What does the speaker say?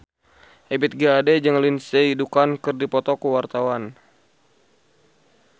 Ebith G. Ade jeung Lindsay Ducan keur dipoto ku wartawan